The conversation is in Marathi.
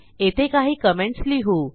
येथे काही कमेंटस लिहू